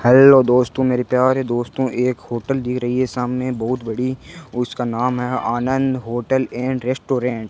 Hello दोस्तों मेरे प्यारे दोस्तों एक होटल दिख रही है सामने बहुत बड़ी औ उसका नाम है आनंद होटल एंड रेस्टोरेंट ।